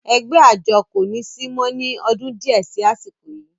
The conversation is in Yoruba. ẹgbẹ́ àjọ kò ní sí mọ́ ní ọdún díẹ̀ sí àsìkò yìí